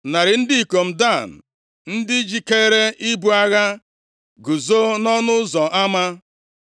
Narị ndị ikom Dan, ndị jikere ibu agha, guzo nʼọnụ ụzọ ama.